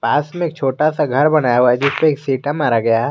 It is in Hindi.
पास में छोटा सा घर बनाया हुआ है जिस पर सीटा मारा गया है।